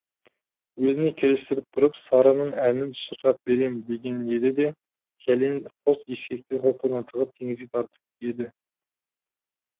өзіне келістіріп тұрып сарының әнін шырқап берем деген еді де кәлен қос ескекті қолтығына тығып теңізге тартып еді